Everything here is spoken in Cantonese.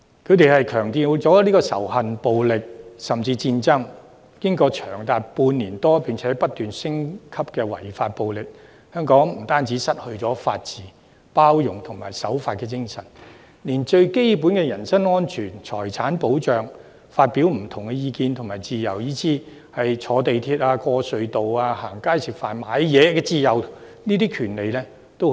他們強調仇恨、暴力，甚至戰爭，在長達半年多並且不斷升級的違法暴力後，香港不單失去法治、包容和守法精神，連最基本的人身安全、財產保障和發表不同意見的自由，以至乘坐鐵路、通過隧道、逛街吃飯和購物等的自由和權利均已失去。